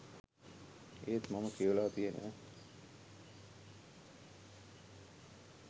ඒත් මම කියවලා තියන